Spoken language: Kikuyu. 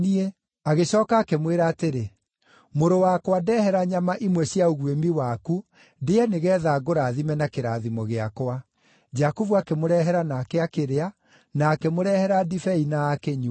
Agĩcooka akĩmwĩra atĩrĩ, “Mũrũ wakwa ndehere nyama imwe cia ũguĩmi waku ndĩe nĩgeetha ngũrathime na kĩrathimo gĩakwa.” Jakubu akĩmũrehera nake akĩrĩa, na akĩmũrehera ndibei na akĩnyua.